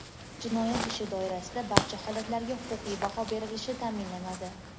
jinoyat ishi doirasida barcha holatlarga huquqiy baho berilishi ta’minlanadi.